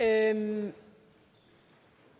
at